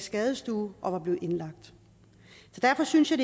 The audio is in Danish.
skadestue og var blevet indlagt derfor synes jeg